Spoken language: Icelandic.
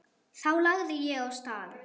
Þá lagði ég af stað.